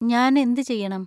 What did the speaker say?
ഞാൻ എന്ത് ചെയ്യണം?